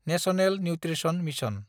national nutrition mission